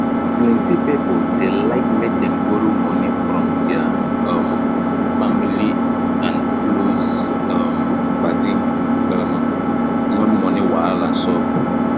plenty pipo dey like make dem borrow moni from der um family and close um padi um when money wahala sup